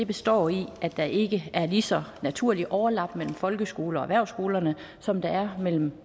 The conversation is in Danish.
består i at der ikke er lige så naturligt et overlap mellem folkeskole og erhvervsskoler som der er mellem